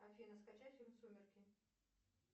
афина скачать фильм сумерки